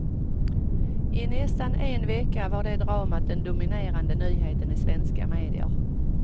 I nästan en vecka var det dramat den dominerande nyheten i svenska medier.